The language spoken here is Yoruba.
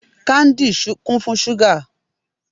Káńdì kún fún ṣúgà.